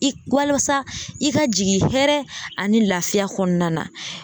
I walasa i ka jigin hɛrɛ ani lafiya kɔnɔna na.